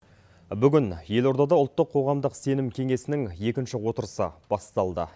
бүгін елордада ұлттық қоғамдық сенім кеңесінің екінші отырысы басталды